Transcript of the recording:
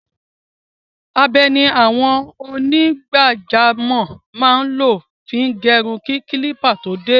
Abẹ ni àwọn onígbàjamọ̀ máa ń lò fi gẹrun kí kílípà tó dé.